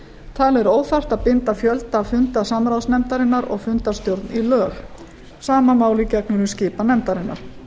talið er óþarft að binda fjölda funda samráðsnefndarinnar og fundarstjórn í lög sama máli gegnir um skipan nefndarinnar